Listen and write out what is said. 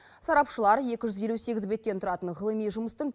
сарапшылар екі жүз елу сегіз беттен тұратын ғылыми жұмыстың